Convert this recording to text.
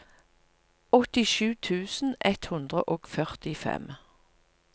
åttisju tusen ett hundre og førtifem